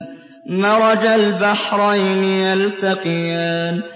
مَرَجَ الْبَحْرَيْنِ يَلْتَقِيَانِ